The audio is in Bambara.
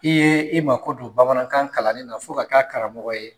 I ye i ma ko don bamanankan kalanni na fo ka k'a karamɔgɔ ye.